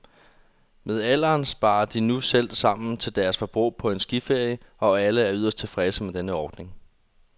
Med alderen sparer de nu selv sammen til deres forbrug på en skiferie, og alle er yderst tilfredse med den ordning.